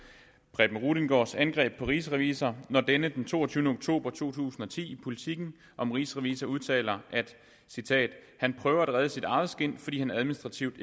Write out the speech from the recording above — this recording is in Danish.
preben rudiengaards angreb på rigsrevisor når denne den toogtyvende oktober to tusind og ti i politiken om rigsrevisor udtaler og jeg citerer han prøver at redde sit eget skind fordi han administrativt